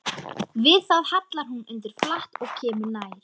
Við það hallar hún undir flatt og kemur nær.